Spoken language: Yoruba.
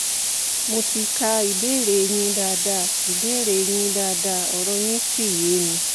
mo ti ka ìbéèrè yín dáadáa ìbéèrè yín dáadáa ọ̀rọ̀ yín sì yé mi